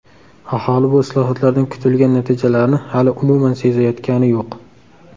Aholi bu islohotlardan kutilgan natijalarni hali umuman sezayotgani yo‘q.